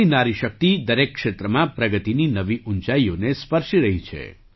આજે ભારતની નારી શક્તિ દરેક ક્ષેત્રમાં પ્રગતિની નવી ઊંચાઈઓને સ્પર્શી રહી છે